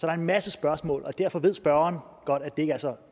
er en masse spørgsmål derfor ved spørgeren godt at det ikke er så